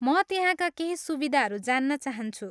म त्यहाँका केही सुविधाहरू जान्न चाहन्छु।